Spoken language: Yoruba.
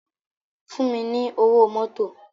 Fún mi ni ówó mòtó